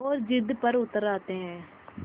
और ज़िद पर उतर आते हैं